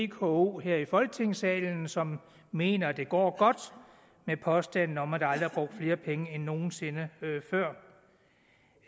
vko her i folketingssalen som mener at det går godt med påstanden om at der aldrig nogen sinde før